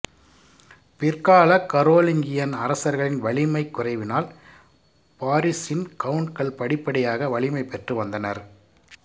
பிற்காலக் Carolingian அரசர்களின் வலிமைக் குறைவினால் பாரிஸின் கவுண்ட்கள் படிப்படியாக வலிமை பெற்று வந்தனர்